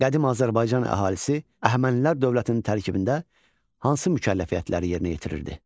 Qədim Azərbaycan əhalisi Əhəmənilər dövlətinin tərkibində hansı mükəlləfiyyətləri yerinə yetirirdi?